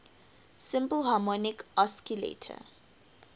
simple harmonic oscillator